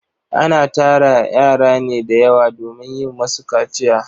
Ana tara yara ne da yawa domin yin musu kaciya.